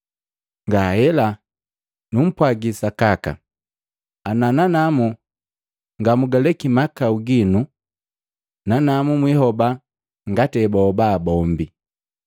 Ngahela! Numpwagi sakaka ana nanamu ngamugaleki mahakau ginu, nanamu mwihoba ngati ebahoba bombi.